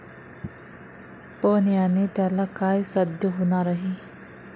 पण याने त्याला काय साध्य होणार आहे?